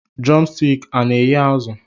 Drọmstik ọ na eghe azụ?